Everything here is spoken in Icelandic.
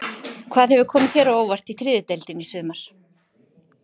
Hvað hefur komið þér á óvart í þriðju deildinni í sumar?